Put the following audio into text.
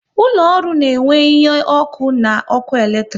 Ụlọ ọrụ na enwe ihe ọkụ na ọkụ eletrik